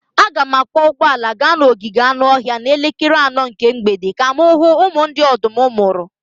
Aga m akwọ ụgbọala gaa n'ogige anụ ọhịa n'elekere anọ nke mgbede ka m hụ ụmụ ndị ọdụm mụrụ.